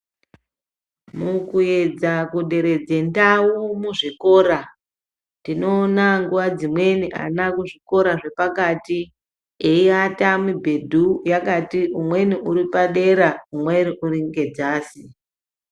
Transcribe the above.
Mukuedza kuderedze ndau muzvikora tinoona nguwa dzimweni ana kuzvikora zvepakati eiata mibhedhu yakati umweni uripadera umweni uringedzasi.